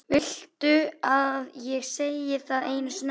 Viltu að ég segi það einu sinni enn?